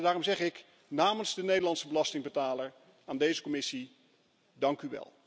Daarom zeg ik, namens de Nederlandse belastingbetaler aan deze Commissie, dank u wel.